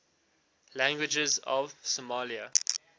languages of somalia